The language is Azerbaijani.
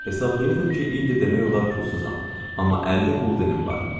Hesablayırdım ki, indi demək olar pulsuzam, amma 50 quldənim var.